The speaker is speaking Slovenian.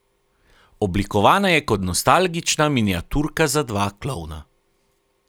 Oblikovana je kot nostalgična miniaturka za dva klovna.